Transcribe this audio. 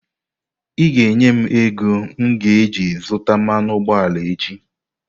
Ị ga-enye m ego m ga-eji zụta mmanụ ụgbọala echi!